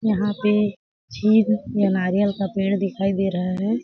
यहाँ पे छै का नारियल का पेड़ दिखाई दे रहा हैं।